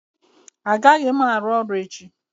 Agaghị m arụ ọrụ echi